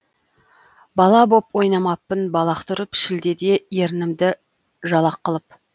бала боп ойнамаппын балақ түріп шілдеде ерінімді жалақ қылып